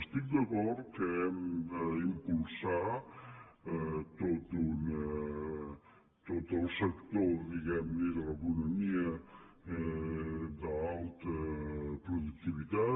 estic d’acord que hem d’impulsar tot el sector diguem ne de l’economia d’alta productivitat